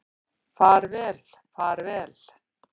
Far vel far vel.